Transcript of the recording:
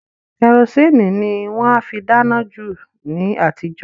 Kẹrosíìnì ni wọ́n á fi dáná jù ni àtijọ́